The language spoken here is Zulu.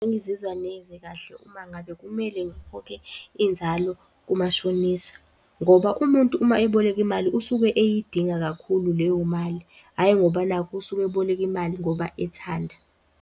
Angizizwa neze kahle uma ngabe kumele ngikhokhe inzalo kumashonisa, ngoba umuntu uma eboleka imali usuke eyidinga kakhulu leyo mali, hhayi ngoba nakhu usuke eboleka imali ngoba ethanda.